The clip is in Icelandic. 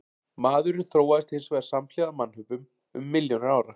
Maðurinn þróaðist hins vegar samhliða mannöpum um milljónir ára.